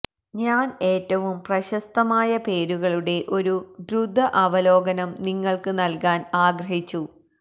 ഞാൻ ഏറ്റവും പ്രശസ്തമായ പേരുകളുടെ ഒരു ദ്രുത അവലോകനം നിങ്ങൾക്ക് നൽകാൻ ആഗ്രഹിച്ചു